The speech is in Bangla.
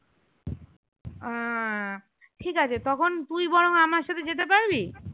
আহ ঠিক আছে তখন তুই বরং আমার সাথে যেতে পারবি